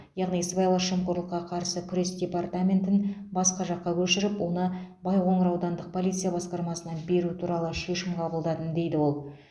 яғни сыбайлас жемқорлыққа қарсы күрес департаментін басқа жаққа көшіріп оны байқоңыр аудандық полиция басқармасына беру туралы шешім қабылдадым дейді ол